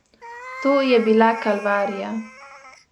To je bila kalvarija.